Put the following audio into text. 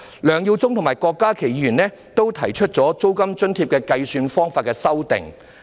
梁耀忠議員及郭家麒議員均就租金津貼的計算方法提出修正案。